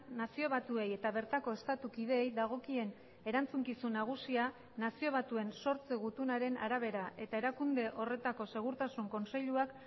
nazio batuei eta bertako estatu kideei dagokien erantzukizun nagusia nazio batuen sortze gutunaren arabera eta erakunde horretako segurtasun kontseiluak